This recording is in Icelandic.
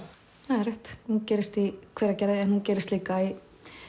það er rétt hún gerist í Hveragerði en hún gerist líka í